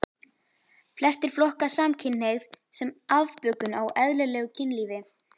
Flestir flokka samkynhneigð sem afbökun á eðlilegu kynlífi.